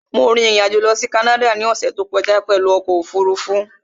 Mo rin ìrìn-àjò lọ sí Canada ní ọ̀ṣẹ̀ tó kọjá pẹ̀lú ọkọ̀ òfurufú